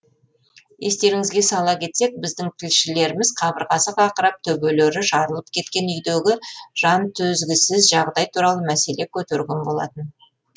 естеріңізге сала кетсек біздің тілшілеріміз қабырғасы қақырап төбелері жарылып кеткен үйдегі жантөзгісіз жағдай туралы мәселе көтерген болатын